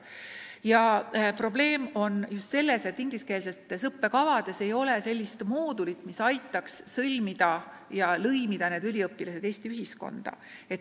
Probleem on just selles, et ingliskeelsetes õppekavades ei ole sellist moodulit, mis aitaks lõimida need tudengid Eesti ühiskonda.